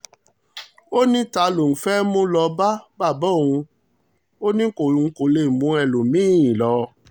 ó ní ta ló lóun fẹ́ mú lọ bàbá òun ni òun kò lè mú ẹlòmí-ín lọ